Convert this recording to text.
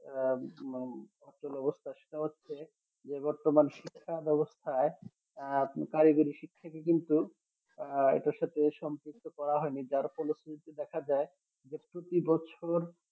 আহ ভীষণ অচল অবস্থা সেটা হচ্ছে যে বর্তমান শিক্ষা ব্যবস্থায় আহ কারিগরি শিক্ষা থেকে কিন্তু আহ এটার সাথে সম্পৃক্ত করা হয়নি যার ফলশ্রুতি দেখা যায় যে প্রতি বছর